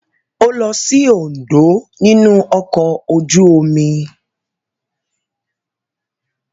Ó lọ sí Oǹdó nínú ọkọ̀ ojú-omi.